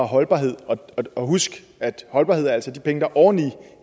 holdbarhed og husk at holdbarhed altså er de penge der er oven i